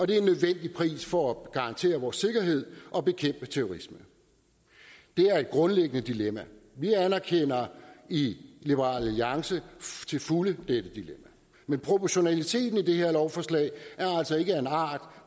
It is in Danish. det er en nødvendig pris for at garantere vores sikkerhed og bekæmpe terrorisme det er et grundlæggende dilemma og vi anerkender i liberal alliance til fulde dette dilemma men proportionaliteten i det her lovforslag er altså ikke af en art